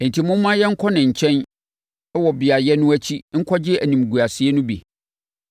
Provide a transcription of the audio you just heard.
Enti momma yɛnkɔ ne nkyɛn wɔ beaeɛ no akyi nkɔgye animguaseɛ no bi.